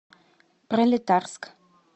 пролетарск